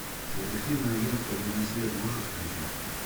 детективное агентство лунный свет можешь включить